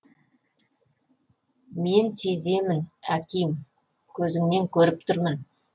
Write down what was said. мен сеземін аким көзіңнен көріп тұрмын